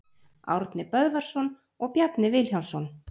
Árni Böðvarsson og Bjarni Vilhjálmsson.